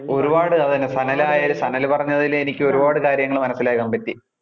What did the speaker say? ഒരുപാട് അത് തന്നെ സനൽ ആയാലും സനല് പറഞ്ഞതിൽ എനിക്ക് ഒരുപാട് കാര്യങ്ങള് മനസിലാക്കാൻ പറ്റി.